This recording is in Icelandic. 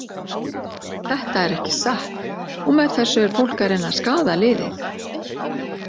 Þetta er ekki satt og með þessu er fólk að reyna að skaða liðið.